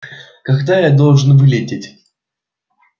когда я должен вылететь